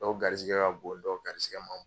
Dɔw garisigɛ ka bon dɔw garisigɛ ma